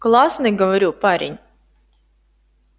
классный говорю парень